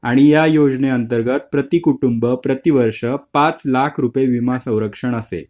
आणि या योजनांतर्गत प्रति कुटुंब प्रति वर्ष पाच लाख रुपये विमा संरक्षण असे